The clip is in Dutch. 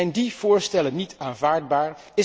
Zijn die voorstellen niet aanvaardbaar?